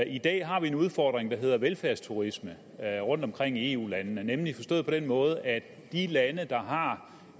i dag har vi en udfordring der hedder velfærdsturisme rundtomkring i eu landene nemlig forstået på den måde at de lande der har